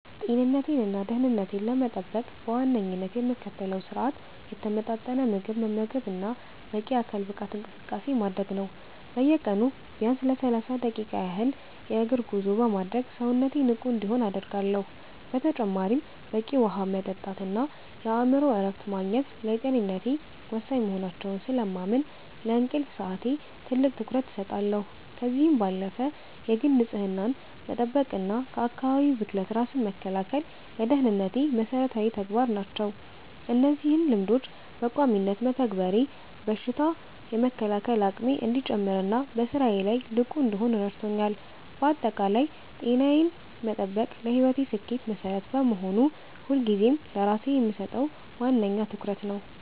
ጤንነቴንና ደህንነቴን ለመጠበቅ በዋነኝነት የምከተለው ስርአት የተመጣጠነ ምግብ መመገብና በቂ የአካል ብቃት እንቅስቃሴ ማድረግ ነው። በየቀኑ ቢያንስ ለሰላሳ ደቂቃ ያህል የእግር ጉዞ በማድረግ ሰውነቴ ንቁ እንዲሆን አደርጋለሁ። በተጨማሪም በቂ ውሃ መጠጣትና የአእምሮ እረፍት ማግኘት ለጤንነቴ ወሳኝ መሆናቸውን ስለማምን፣ ለእንቅልፍ ሰዓቴ ትልቅ ትኩረት እሰጣለሁ። ከዚህም ባለፈ የግል ንጽህናን መጠበቅና ከአካባቢ ብክለት ራስን መከላከል ለደህንነቴ መሰረታዊ ተግባራት ናቸው። እነዚህን ልማዶች በቋሚነት መተግበሬ በሽታ የመከላከል አቅሜ እንዲጨምርና በስራዬ ላይ ንቁ እንድሆን ረድቶኛል። ባጠቃላይ ጤናዬን መጠበቅ ለህይወቴ ስኬት መሰረት በመሆኑ፣ ሁልጊዜም ለራሴ የምሰጠው ዋነኛ ትኩረት ነው።